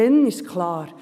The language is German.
Dann ist es klar.